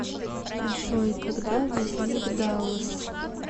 джой когда возник даллас